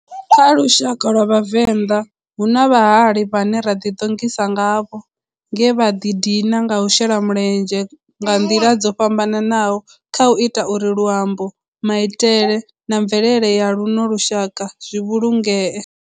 Kha lushaka lwa Vhavenda, hu na vhahali vhane ra ḓi ṱongisa ngavho nge vha di dina nga u shela mulenzhe nga ndila dzo fhambananaho khau ita uri luambo, maitele na mvelele ya luno lushaka zwi vhulungee.